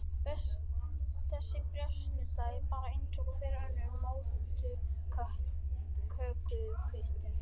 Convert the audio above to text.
Þessi bréfsnudda er bara eins og hver önnur móttökukvittun.